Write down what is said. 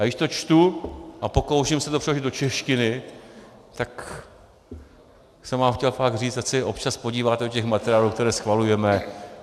Ale když to čtu a pokouším se to přeložit do češtiny, tak jsem vám chtěl fakt říct, ať se občas podíváte do těch materiálů, které schvalujeme.